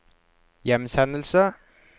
hjemsendelse